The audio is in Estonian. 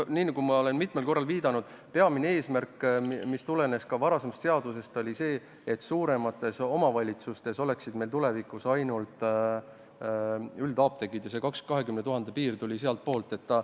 Nii nagu ma mitmel korral olen viidanud, oli peamine eesmärk, mis tulenes ka varasemast seadusest, see, et suuremates omavalitsustes oleksid meil tulevikus ainult üldapteegid, ja see 20 000 elaniku piir tuli sealtpoolt.